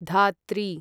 धात्री